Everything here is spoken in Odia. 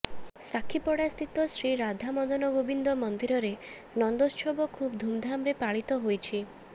ସାକ୍ଷୀପଡ଼ା ସ୍ଥିତ ଶ୍ରୀରାଧାମଦନଗୋପାଳ ମନ୍ଦିରରେ ନନ୍ଦୋତ୍ସବ ଖୁବ୍ ଧୁମ୍ଧାମରେ ପାଳିତ ହୋଇଛି